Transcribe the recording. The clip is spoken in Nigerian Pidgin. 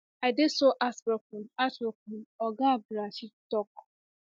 i dey so heartbroken heartbroken oga abdulrasheed tok